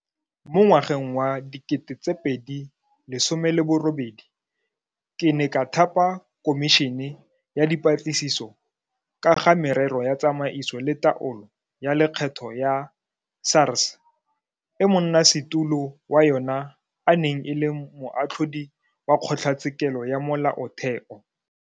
Mo ngwageng wa 2018 ke ne ka thapa Khomišene ya Dipatlisiso ka ga Merero ya Tsamaiso le Taolo ya Lekgetho ya SARS e monnasetulo wa yona e neng e le Moatlhodi wa Kgotlatshekelo ya Molaotheo.